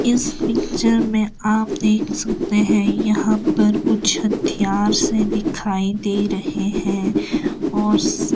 इस पिक्चर में आप देख सकते हैं यहां पर कुछ हथियार से दिखाई दे रहे हैं और--